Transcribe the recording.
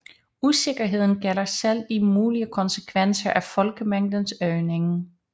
Usikkerheden gælder selv de mulige konsekvenser af folkemængdens øgning